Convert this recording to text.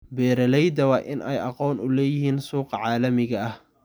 Beeralayda waa in ay aqoon u leeyihiin suuqa caalamiga ah.